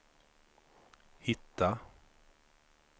hitta